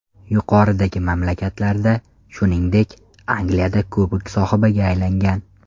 Yuqoridagi mamlakatlarda, shuningdek, Angliyada kubok sohibiga aylangan.